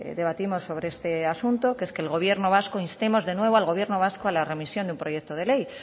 debatimos sobre este asunto que es que el gobierno vasco instemos de nuevo al gobierno vasco a la remisión de un proyecto de ley